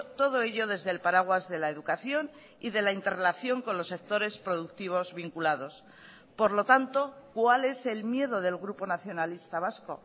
todo ello desde el paraguas de la educación y de la interrelación con los sectores productivos vinculados por lo tanto cuál es el miedo del grupo nacionalista vasco